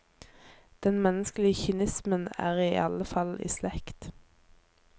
Den menneskelege kynismen er i alle fall i slekt.